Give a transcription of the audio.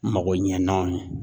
Mago ɲɛnaw ye